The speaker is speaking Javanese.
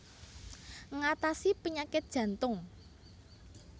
Ngatasi penyakit jantung